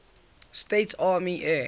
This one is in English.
states army air